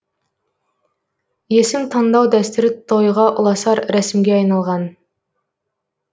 есім таңдау дәстүрі тойға ұласар рәсімге айналған